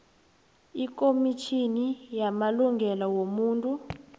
ikomitjhini yamalungelo wobuntu